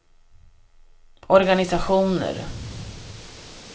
organisationer